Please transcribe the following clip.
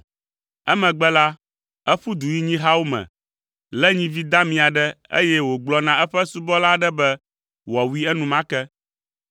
Emegbe la, eƒu du yi nyihawo me, lé nyivi dami aɖe, eye wògblɔ na eƒe subɔla aɖe be wòawui enumake.